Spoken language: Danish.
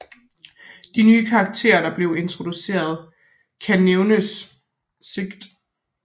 De nye karakterer der blev introduceret kan nævnes Sgt